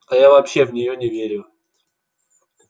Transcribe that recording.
а я вообще в неё не верю